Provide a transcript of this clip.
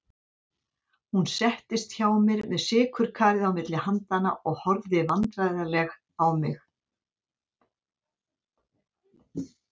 Hún settist hjá mér með sykurkarið milli handanna og horfði vandræðaleg á mig.